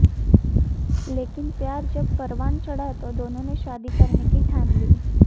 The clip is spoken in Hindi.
लेकिन प्यार जब परवान चढ़ा तो दोनों ने शादी करने की ठान ली